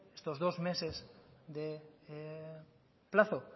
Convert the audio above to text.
estos dos meses de plazo